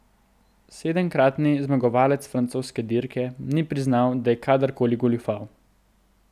Sedemkratni zmagovalec francoske dirke ni priznal, da je kadar koli goljufal.